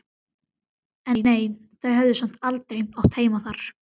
En nei, þau höfðu samt aldrei átt heima þar.